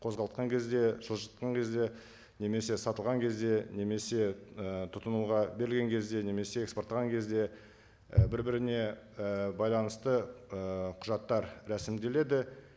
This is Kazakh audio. қозғалтқан кезде жылжытқан кезде немесе сатылған кезде немесе і тұтынуға берілген кезде немесе экспорттаған кезде і бір біріне і байланысты ы құжаттар рәсімделеді